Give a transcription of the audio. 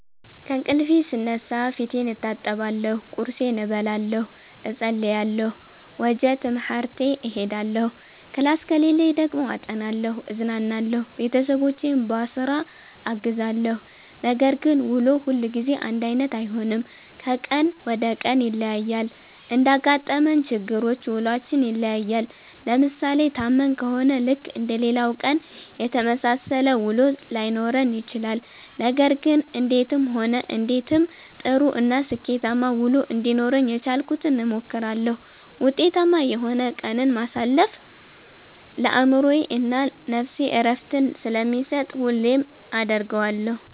ከእንቅልፌ ስነሳ ፌቴን እታጠባለሁ ቁርሴን እበላለሁ እፀልያለሁ ወጀ ትምሀርቴ እሄዳለሁ ክላስ ከሌለኝ ደግሞ አጠናለሁ እዝናናለሁ ቤተሠቦቼን ቧስራ አግዛለሁ። ነገር ግን ውሎ ሁልጊዜ አንዳይነት አይሆንም ከቀን ወደ ቀን ይለያያል። እንዳጋጠመን ችግሮች ውሏችን ይለያያል። ለምሣሌ ታመን ከሆነ ልክ እንደሌላው ቀን የተመሣሠለ ውሎ ላይኖረን ይችላል። ነገር ግን እንዴትም ሆነ እንዴትም ጥሩ እና ስኬታማ ውሎ እንዲኖረኝ የቻልኩትን እሞክራለሁ። ውጤታማ የሆነ ቀንን ማሣለፍ ለአእምሮዬ እና ነፍሴ ዕረፍትን ስለሚሠጥ ሁሌም አደርገዋለሁ።